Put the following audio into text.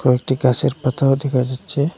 একটি গাসের পাতাও দেখা যাচ্ছে।